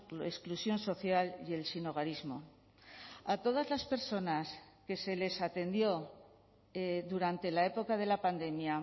la exclusión social y el sinhogarismo a todas las personas que se les atendió durante la época de la pandemia